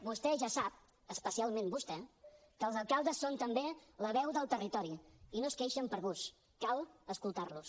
vostè ja sap especialment vostè que els alcaldes són també la veu del territori i no es queixen per gust cal escoltar los